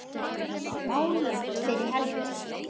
Veður voru válynd fyrir helgi.